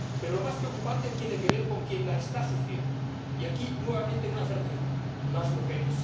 Pero lo más preocupante tiene que ver con quien la está sufriendo, y aquí hay nuevamente una certeza las mujeres.